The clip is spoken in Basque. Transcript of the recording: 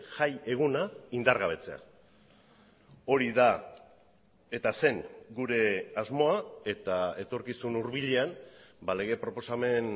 jaieguna indargabetzea hori da eta zen gure asmoa eta etorkizun hurbilean lege proposamen